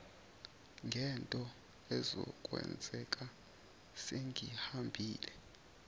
ngento ezokwenzeka sengihambile